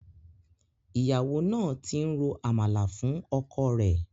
Ìyàwó náà ti ń ro Àmàlà fún ọkọ rẹ̀.